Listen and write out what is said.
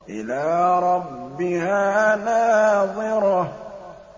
إِلَىٰ رَبِّهَا نَاظِرَةٌ